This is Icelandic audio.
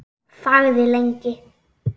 Þagði lengi.